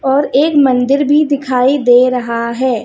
और एक मंदिर भी दिखाई दे रहा है।